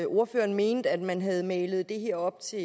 ordføreren mente at man havde malet det her op til